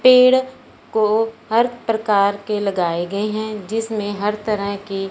पेड़ को हर प्रकार के लगाए गए हैं जिसमें हर तरह की--